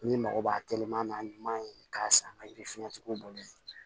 N'i mago b'a telima ɲuman ye k'a san ka yiri fɛrɛn cogo bolo